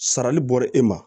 Sarali bɔra e ma